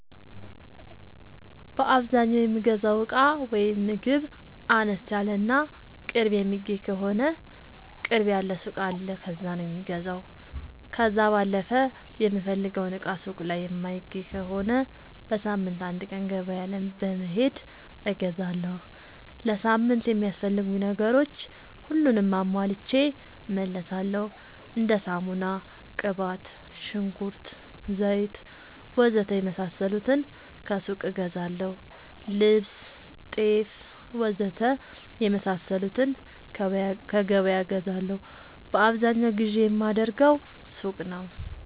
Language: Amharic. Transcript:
በአዛኛው የምገዛው እቃ ወይም ምግብ አነስ ያለ እና ቅርብ የሚገኝ ከሆነ ቅርብ ያለ ሱቅ አለ ከዛ ነው የምገዛው። ከዛ ባለፈ የምፈልገውን እቃ ሱቅ ላይ የማይገኝ ከሆነ በሳምንት አንድ ቀን ገበያ በመሄድ እገዛለሁ። ለሳምንት የሚያስፈልጉኝ ነገሮች ሁሉንም አሟልቼ እመለሣለሁ። እንደ ሳሙና፣ ቅባት፣ ሽንኩርት፣ ዘይት,,,,,,,,, ወዘተ የመሣሠሉትን ከሱቅ እገዛለሁ። ልብስ፣ ጤፍ,,,,,,,,, ወዘተ የመሣሠሉትን ከገበያ እገዛለሁ። በአብዛኛው ግዢ የማደርገው ሱቅ ነው።